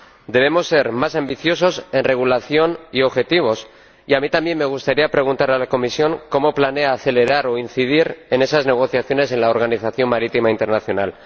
Debemos ser más ambiciosos en regulación y objetivos, y a mí también me gustaría preguntarle a la Comisión cómo planea acelerar o incidir en esas negociaciones en la Organización Marítima Internacional.